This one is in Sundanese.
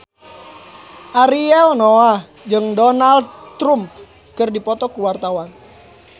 Ariel Noah jeung Donald Trump keur dipoto ku wartawan